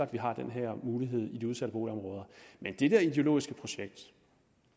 vi har den her mulighed i de udsatte boligområder men det der ideologiske projekt